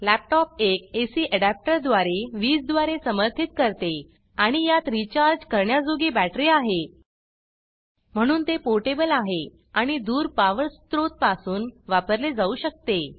laptop एक AC adapter द्वारे वीज द्वारे समर्थित करते आणि यात रीचार्ज करण्याजोगी बॅटरी आहे म्हणून ते पोर्टेबल आहे आणि दूर पावर स्रोत पासून वापरले जाऊ शकते